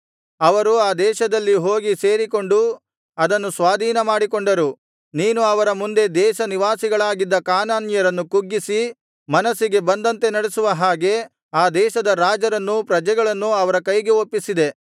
ಅವರು ಆ ದೇಶದಲ್ಲಿ ಹೋಗಿ ಸೇರಿಕೊಂಡು ಅದನ್ನು ಸ್ವಾಧೀನಮಾಡಿಕೊಂಡರು ನೀನು ಅವರ ಮುಂದೆ ದೇಶನಿವಾಸಿಗಳಾಗಿದ್ದ ಕಾನಾನ್ಯರನ್ನು ಕುಗ್ಗಿಸಿ ಮನಸ್ಸಿಗೆ ಬಂದಂತೆ ನಡಿಸುವ ಹಾಗೆ ಆ ದೇಶದ ರಾಜರನ್ನೂ ಪ್ರಜೆಗಳನ್ನೂ ಅವರ ಕೈಗೆ ಒಪ್ಪಿಸಿದೆ